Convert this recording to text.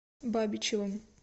бабичевым